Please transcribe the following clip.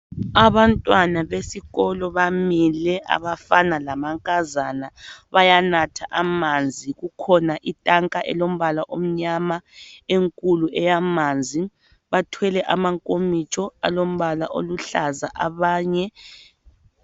Abantwana besikolo bamile abafana lamankazana bayanatha amanzi , kukhona itanka elombala omnyama enkulu eyamanzi , bathwele amankomitsho alombala aluhlaza abanye